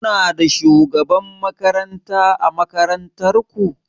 Kuna da shugaban makaranta ã makarantan ku?